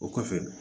O kɔfɛ